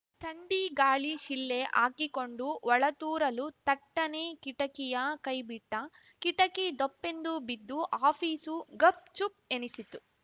ಥಂಡಿ ಗಾಳಿ ಶಿಳ್ಳೆ ಹಾಕಿಕೊಂಡು ಒಳತೂರಲು ಥಟ್ಟನೆ ಕಿಟಕಿಯ ಕೈಬಿಟ್ಟ ಕಿಟಕಿ ಧೊಪ್ಪೆಂದು ಬಿದ್ದು ಆಫೀಸು ಗಪ್‌ ಚುಪ್‌ ಎನಿಸಿತು